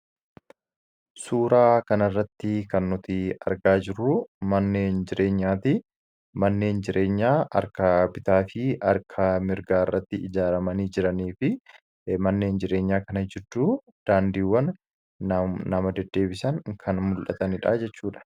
Suuraa kanarratti kan nuti argaa jirru manneen jireenyaati. Manneen jireenyaa harka bitaa fi harka mirgaa irratti ijaaramanii jiranii fi manneen jireenyaa kana gidduu daandiiwwan nama deddeebisan kan mul'atanidha jechuudha.